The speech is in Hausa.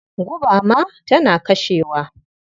Guba ma tana kashewa.